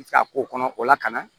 K'a k'o kɔnɔ o la ka na